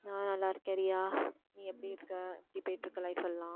நான் நல்லா இருக்கேன் ரியா நீ எப்படி இருக்க எப்படி போயிட்டிருக்கு life எல்லாம்